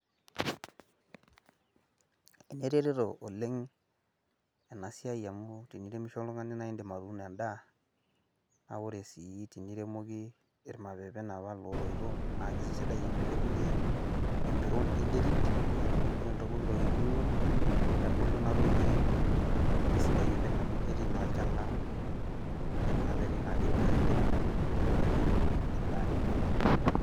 eneretoto oleng' enasiai amu tiniremisho oltung'ani naa idim atuuno edaa , naa ore sii tiniremoki irmapepen otooito naa kitopir enterit , neeku kitubulu edaa aitobiraki.